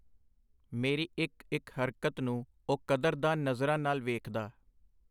ਮੇਰੀ ਇਕ-ਇਕ ਹਰਕਤ ਨੂੰ ਉਹ ਕਦਰ-ਦਾਨ ਨਜ਼ਰਾਂ ਨਾਲ ਵੇਖਦਾ.